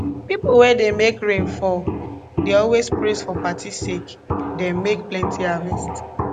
pipo wey dey make rain fall dey always praise for party sake dem make plenti harvest